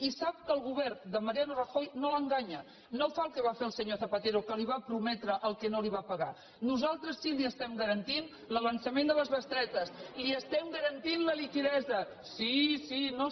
i sap que el govern de mariano rajoy no l’enganya no fa el que va fer el senyor zapatero que li va prometre el que no li va pagar nosaltres sí que li estem garantint l’avançament de les bestretes li estem garantint la liquiditat